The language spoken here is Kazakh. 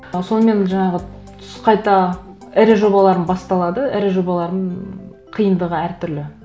ы сонымен жаңағы түс қайта ірі жобаларым басталады ірі жобалардың қиындығы әртүрлі